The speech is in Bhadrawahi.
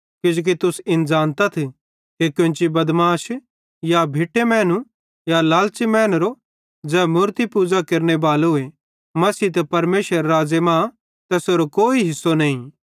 किजोकि तुस इन ज़ानतथ कि कोन्ची बदमाश या भिट्टो मैनू या लालच़ी मैनेरो ज़ै मूरती पूज़ा केरनेबालोए मसीह ते परमेशरेरे राज़्ज़े मां तैसेरो कोई हिस्सो नईं